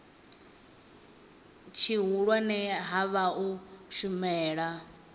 tshihulwane ha vha u shumela